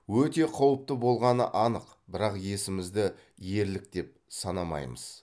өте қауіпті болғаны анық бірақ есімізді ерлік деп санамаймыз